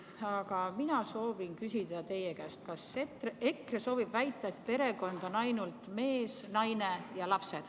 Aga mina soovin küsida teie käest, kas EKRE soovib väita, et perekond on ainult mees, naine ja lapsed.